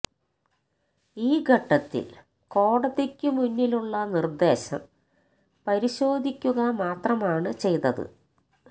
ഈ ഘട്ടത്തില് കോടതിക്കു മുന്നിലുള്ള നിര്ദേശം പരിശോധിക്കുക മാത്രമാണ് ചെയ്തത്